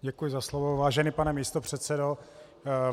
Děkuji za slovo, vážený pane místopředsedo.